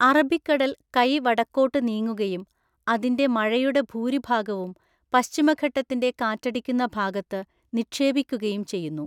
അറബിക്കടൽ കൈ വടക്കോട്ട് നീങ്ങുകയും അതിൻ്റെ മഴയുടെ ഭൂരിഭാഗവും പശ്ചിമഘട്ടത്തിൻ്റെ കാറ്റടിക്കുന്ന ഭാഗത്ത് നിക്ഷേപിക്കുകയും ചെയ്യുന്നു.